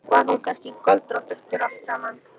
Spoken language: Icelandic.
Var hún kannski göldrótt eftir allt saman?